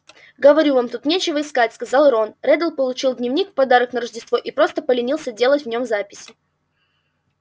говорю вам тут нечего искать сказал рон реддл получил дневник в подарок на рождество и просто поленился делать в нём записи